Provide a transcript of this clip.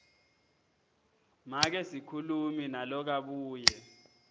make sikhulumi nalokabuye